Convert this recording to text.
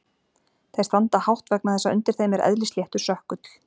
þeir standa hátt vegna þess að undir þeim er eðlisléttur sökkull